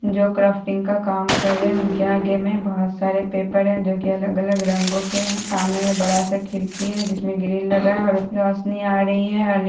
जो क्राफ्टिंग का काम कर रहें हैं उनके आगे में बहुत सारे पेपर हैं जो की अलग-अलग रंगों के हैं सामने में बड़ा सा खिड़की है जिसमें ग्रिल लगा है और रोशनी आ रही है और नि --